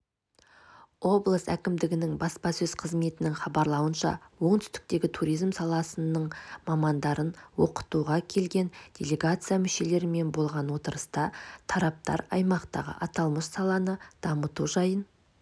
облыс әкімдігінің баспасөз қызметінің хабарлауынша оңтүстіктегі туризм саласының мамандарын оқытуға келген делегация мүшелерімен болған отырыста тараптар аймақтағы аталмыш саланы дамыту жайын